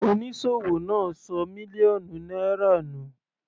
Onísòwò náà ṣọ mílíọ̀nù náírà nù.